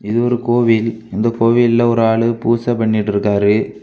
இது ஒரு கோவில் இந்த கோவில்ல ஒரு ஆளு பூச பண்ணிட்ருக்காரு.